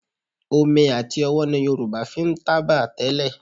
Omi àti ọwọ́ ni Yorùbá fi ń tábà tẹ́lẹ̀